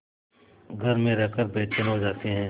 घर में रहकर बेचैन हो जाते हैं